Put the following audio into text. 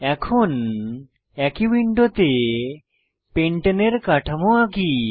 এখন একই উইন্ডোতে পেন্টানে এর কাঠামো আঁকি